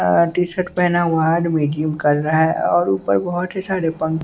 अ T shirt पहना हुआ आदमी जिम कर रहा है और ऊपर बहोत ही सारे पन--